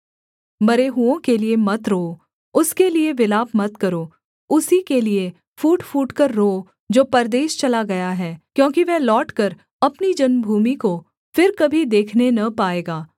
मरे हुओं के लिये मत रोओ उसके लिये विलाप मत करो उसी के लिये फूट फूटकर रोओ जो परदेश चला गया है क्योंकि वह लौटकर अपनी जन्मभूमि को फिर कभी देखने न पाएगा